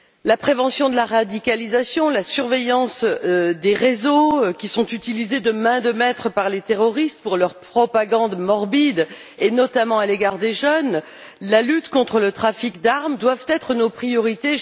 La prévention de la radicalisation, la surveillance des réseaux qui sont utilisés de main de maître par les terroristes pour leur propagande morbide, notamment à l'égard des jeunes et la lutte contre le trafic d'armes doivent être nos priorités.